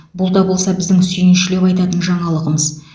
бұл да болса біздің сүйіншілеп айтатын жаңалығымыз